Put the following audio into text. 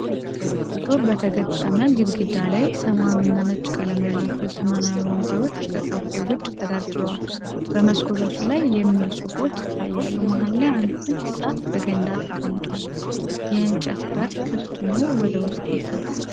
ጡብ በተገጠመ ግድግዳ ላይ፣ ሰማያዊና ነጭ ቀለም ያላቸው ዘመናዊ ወንበሮች ከካፌው ውጭ ተደርድረዋል። በመስኮቶቹ ላይ "Giz-Bar" የሚሉ ጽሑፎች ይታያሉ። መሃል ላይ አንድ ትንሽ ዛፍ በገንዳ ተቀምጧል፣ የእንጨት በር ክፍት ሆኖ ወደ ውስጥ ይገባል።